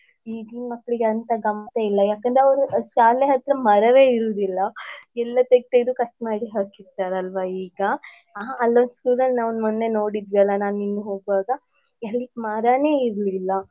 ಈಗಿನ್ ಮಕ್ಲಿಗೆ ಅಂತ ಗಮ್ಮತ್ತೆ ಇಲ್ಲ ಯಾಕಂದ್ರೆ ಅವ್ರು ಶಾಲೆ ಹತ್ರ ಮರವೇ ಇರುದಿಲ್ಲ ಎಲ್ಲ ತೇಗ್ದು ತೇಗ್ದು cut ಮಾಡಿ ಹಾಕಿರ್ತಾರಲ್ವಾ ಈಗ ಹ ಅಲ್ಲೊಂದು school ಅಲ್ಲಿ ನಾವ್ ಮೊನ್ನೆ ನೋಡಿದ್ವಿ ಅಲ ನಾನ್ ನೀನ್ ಹೋಗುವಾಗ ಅಲ್ಲಿ ಮರನೇ ಇರ್ಲಿಲ್ಲ.